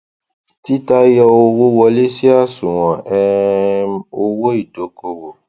títa yọ owó wọlé sí àṣùwọn um owó ìdókòwò